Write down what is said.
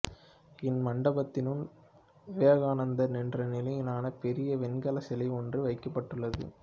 இம்மண்டபத்தினுள் விவேகானந்தர் நின்ற நிலையிலான பெரிய வெண்கலைச் சிலை ஒன்று வைக்கப்பட்டுள்ளது